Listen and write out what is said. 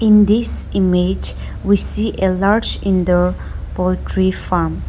In this image we see a large indoor poultry farm.